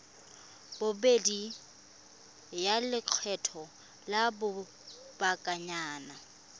bobedi ya lekgetho la lobakanyana